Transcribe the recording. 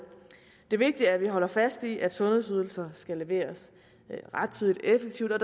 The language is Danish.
det vigtige er at vi holder fast i at sundhedsydelser skal leveres rettidigt og effektivt og at